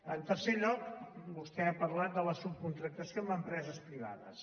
en tercer lloc vostè ha parlat de la subcontractació amb empreses privades